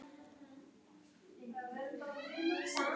En finni hann týnt fótspor á hinum viðurkennda vegi verður það nýtt.